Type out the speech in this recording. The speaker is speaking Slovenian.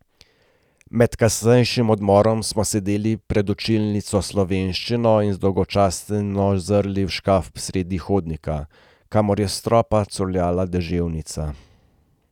Med kasnejšim odmorom smo sedeli pred učilnico slovenščine in zdolgočaseni zrli v škaf sredi hodnika, kamor je s stropa curljala deževnica.